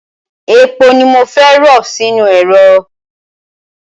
Epo ni mo fẹ́ rọ sínú ẹ̀rọ.